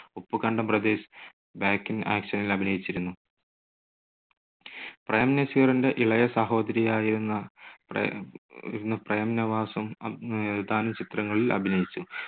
Uppukandam brothers back in ആക്ഷനിൽ അഭിനയിച്ചിരുന്നു. പ്രേം നസീറിന്റെ ഇളയ സഹോദരിയായിരുന്ന പ്രേം, പ്രേം നവാസും ഏതാനും ചിത്രങ്ങളിൽ അഭിനയിച്ചു.